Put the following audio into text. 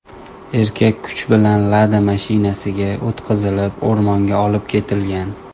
Erkak kuch bilan Lada mashinasiga o‘tqazilib o‘rmonga olib ketilgan.